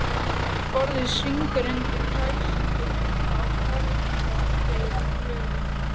Borðið svignar undan kræsingunum á fermingardegi Klöru.